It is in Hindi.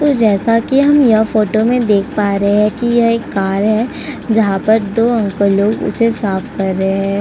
तो जैसा कि हम ये फोटो में देख पा रहे हैं कि ये एक कार है। जहाँ पर दो अंकल लोग इसे साफ कर रहे हैं।